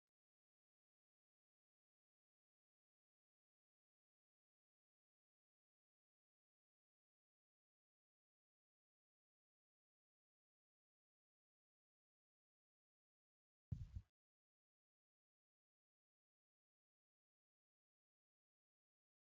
Maatii jechuun haadha abbaa fi qindoomina miseensota maatii kanneen akka akaakayyuu fa'aa of keessaa qabudha. Maatii tokko keessatti hariiroon haadhaa fi abbaa duree ijoollee isaaniitiif baayyee akkaan barbaachisaa fi murteessaadha.